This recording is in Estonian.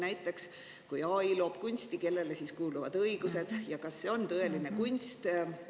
Näiteks, kui AI loob kunsti, kellele siis kuuluvad õigused ja kas see on tõeline kunst?